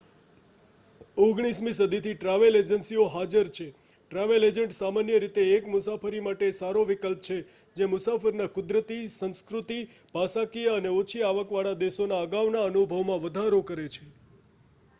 19મી સદીથી ટ્રાવેલ એજન્સીઓ હાજર છે ટ્રાવેલ એજન્ટ સામાન્ય રીતે એક મુસાફરી માટે સારો વિકલ્પ છે જે મુસાફરના કુદરતી સંસ્કૃતિ ભાષાકિય અને ઓછી આવક વાળા દેશોના અગાઉના અનુભવમાં વધારો કરે છે